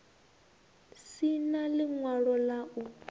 si na ḽiṅwalo ḽa u